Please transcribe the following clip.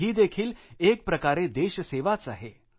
ही देखील एकप्रकारे देशसेवाच आहे